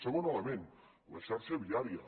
segon element la xarxa viària